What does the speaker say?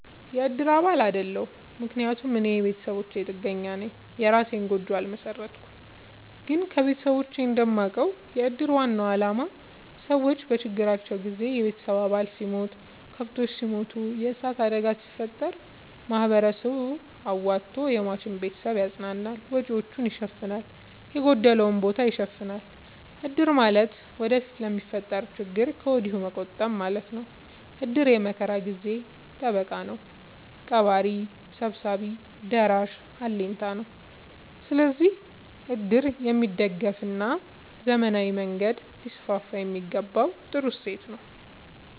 የእድር አባል አይደለሁም። ምክንያቱም እኔ የቤተሰብ ጥገኛነኝ የእራሴን ጎጆ አልመሠረትኩም። ግን ከቤተሰቦቼ እንደማውቀው። የእድር ዋናው አላማ ሰዎች በችግር ጊዜ የቤተሰብ አባል ሲሞት፤ ከብቶች ሲሞቱ፤ የዕሳት አደጋ ሲፈጠር፤ ማህበረሰቡ አዋቶ የሟችን ቤተሰብ ያፅናናል፤ ወጪወቹን ይሸፋናል፤ የጎደለውን ቦታ ይሸፋናል። እድር ማለት ወደፊት ለሚፈጠረው ችግር ከወዲሁ መቆጠብ ማለት ነው። እድር የመከራ የችግር ጊዜ ጠበቃ ነው። ቀባሪ ሰብሳቢ ደራሽ አለኝታ ነው። ስለዚህ እድር የሚደገፋና በዘመናዊ መንገድ ሊስስፋየሚገባው ጥሩ እሴት ነው።